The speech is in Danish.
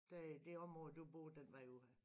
Der i det område du bor den vej ud af